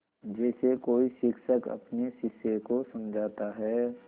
जैसे कोई शिक्षक अपने शिष्य को समझाता है